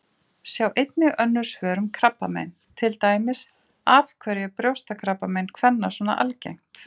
Sjá einnig önnur svör um krabbamein, til dæmis: Af hverju er brjóstakrabbamein kvenna svona algengt?